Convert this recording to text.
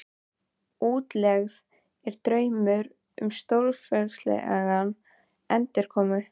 Útlegð er draumur um stórfenglega endurkomu.